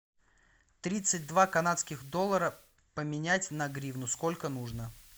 тридцать два канадских доллара поменять на гривну сколько нужно